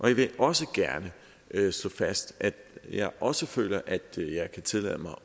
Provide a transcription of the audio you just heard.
jeg vil også gerne slå fast at jeg også føler at jeg kan tillade mig